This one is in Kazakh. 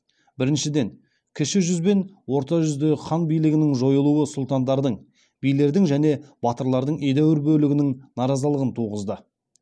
біріншіден кіші жүз бен орта жүздегі хан билігінің жойылуы сұлтандардың билердің және батырлардың едәуір бөлігінің наразылығын туғызды